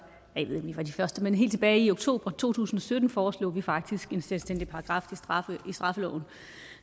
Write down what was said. af de første men helt tilbage i oktober to tusind og sytten foreslog vi faktisk en selvstændig paragraf i straffeloven